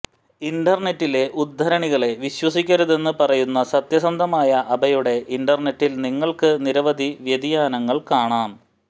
ഇന്റർനെറ്റിലെ ഉദ്ധരണികളെ വിശ്വസിക്കരുതെന്ന് പറയുന്ന സത്യസന്ധമായ അബെയുടെ ഇന്റർനെറ്റിൽ നിങ്ങൾക്ക് നിരവധി വ്യതിയാനങ്ങൾ കാണാം